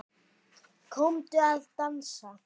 Komdu að dansa